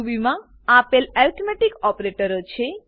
રૂબીમાં આપેલ એર્થમેટીક ઓપરેટરો છે